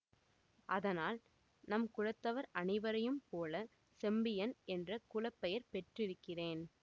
அதனால் நம் குலத்தவர் அனைவரையும் போல செம்பியன் என்ற குலப்பெயர் பெற்றிருக்கிறேன்